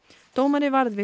dómari varð við